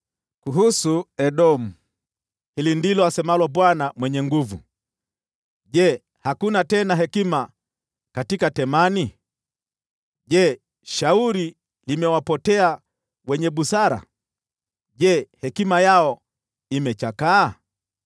Kuhusu Edomu: Hili ndilo asemalo Bwana Mwenye Nguvu Zote: “Je, hakuna tena hekima katika Temani? Je, shauri limewapotea wenye busara? Je, hekima yao imechakaa?